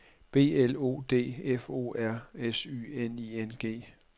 B L O D F O R S Y N I N G